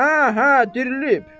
Hə, hə, dirilib.